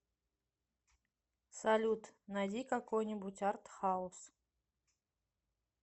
салют найди какой нибудь артхаус